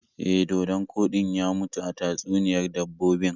E, dodon koɗin ya mutu a tatsuniyar dabbobin.